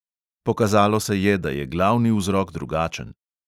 Pokazalo se je, da je glavni vzrok drugačen.